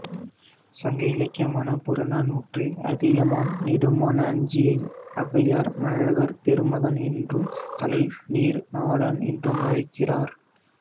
சங்க இலக்கியமான புறநானூற்றில் அதியமான் நெடுமான் அஞ்சியை ஔவையார் மழவர் பெருமகன் என்றும் தலை நீர் நாடன் என்றும் அழைக்கிறார்